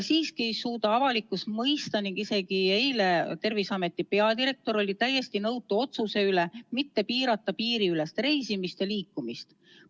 Siiski ei suuda avalikkus mõista ning isegi Terviseameti peadirektor oli eile täiesti nõutu otsuse üle mitte piirata piiriülest reisimist ja liikumist.